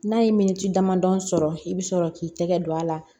N'a ye miniti damadɔ sɔrɔ i bi sɔrɔ k'i tɛgɛ don a la